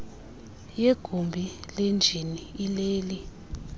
yegumbi lenjini ileli